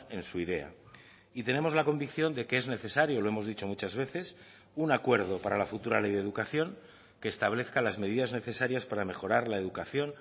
en su idea y tenemos la convicción de que es necesario lo hemos dicho muchas veces un acuerdo para la futura ley de educación que establezca las medidas necesarias para mejorar la educación